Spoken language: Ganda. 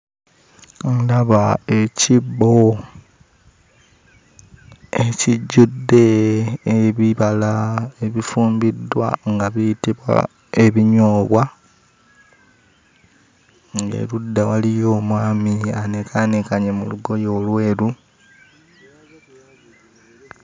Ndaba ekibbo ekijjudde ebibala ebifumbiddwa nga biyitibwa ebinyoobwa, ng'erudda waliyo omwami anekaanekanye mu lugooye olweru.